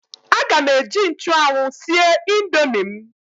Aga m eji nchụanwụ sie indomi m.